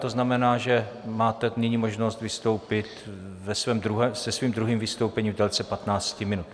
To znamená, že máte nyní možnost vystoupit se svým druhým vystoupením v délce 15 minut.